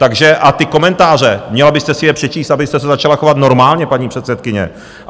Takže - a ty komentáře, měla byste si je přečíst, abyste se začala chovat normálně, paní předsedkyně.